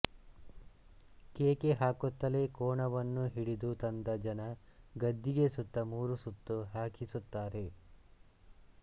ಕೇಕೆ ಹಾಕುತ್ತಲೇ ಕೋಣವನ್ನು ಹಿಡಿದು ತಂದ ಜನ ಗದ್ದಿಗೆ ಸುತ್ತ ಮೂರು ಸುತ್ತು ಹಾಕಿಸುತ್ತಾರೆ